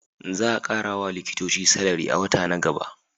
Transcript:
Za a kara wa likitoci salari a wata na gaba